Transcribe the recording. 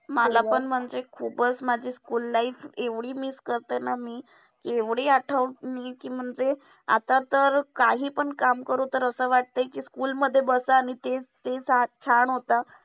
मला पण म्हणजे खुपचं माझी school life एवढी miss करते ना मी. एवढी आठवते मी ती म्हणजे आता तर काहीपण काम करू तर असं वाटतंय कि school मध्ये बसा आणि तेच तेच छान होतं.